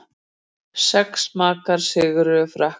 Sex marka sigur Frakka